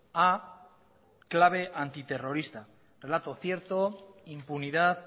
a clave antiterrorista relato cierto impunidad